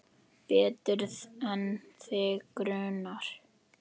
Betur en þig grunar.